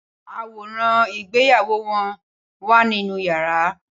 Aworan igbeyawo won wa ninu yara